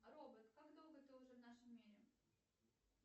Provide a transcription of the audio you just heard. робот как долго ты уже в нашем мире